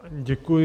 Děkuji.